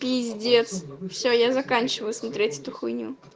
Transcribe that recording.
пиздец все я заканчиваю смотреть эту хуйню